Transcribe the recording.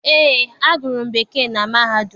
Eé, agụrụ m Bekee na mahadum